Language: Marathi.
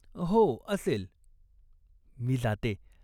" हो, असेल, " "मी जाते.